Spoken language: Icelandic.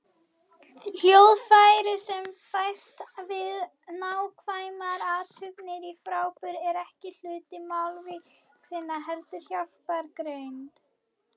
Hljóðfræðin sem fæst við nákvæmar athuganir á framburði er ekki hluti málvísindanna, heldur hjálpargrein.